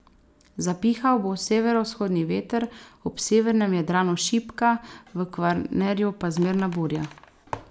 Zapihal bo severovzhodni veter, ob severnem Jadranu šibka, v Kvarnerju pa zmerna burja.